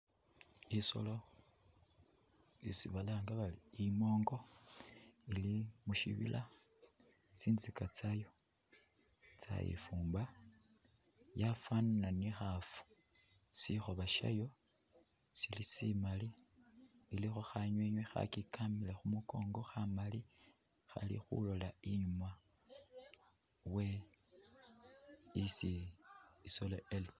Isolo isi balanga bari imongo ili mushinila tsintsika tsayo tsayifumba, yafanana ni ngafu , shikhoba shiyo shilo shimali , ilikho khanwinwi khakyikamile khumukongo kha mali khali khulola inyuma we isi isolo eli.